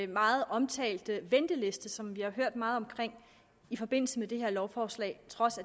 meget omtalte venteliste som vi har hørt meget om i forbindelse med det her lovforslag trods